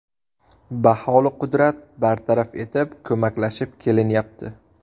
Baholiqudrat bartaraf etib, ko‘maklashib kelinyapti.